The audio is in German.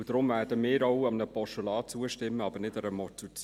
Deshalb werden wir auch einem Postulat zustimmen, aber nicht einer Motion.